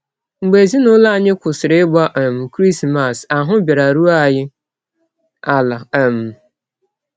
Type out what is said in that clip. Mgbe ezinụlọ anyị kwụsịrị ịgba um Krismas, ahụ́ bịara rụọ anyị ala! ” um